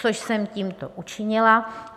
- Což jsem tímto učinila.